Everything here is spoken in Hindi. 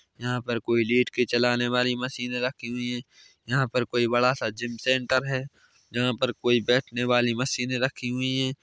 यहाँ पर कोई लेट के चलाने वाली मशीन रखी हुई है यहाँ पर कोई बड़ा सा जिम सेंटर है जहाँ पर कोई बैठने वाली मशीने रखी हुई हैं ।